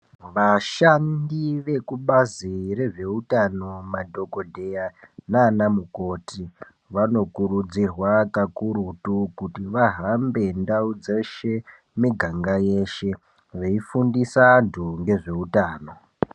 Vashandi vekubazi rezveutano madhogodheya nanamukoti. Vanokurudzirwa kakurutu kuti vahambe ndau dzeshe miganga yeshe veifundisa antu ngezveutano.